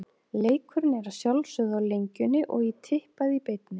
Leikurinn er að sjálfsögðu á Lengjunni og í Tippað í beinni.